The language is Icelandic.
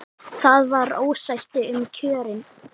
Það var ósætti um kjörin.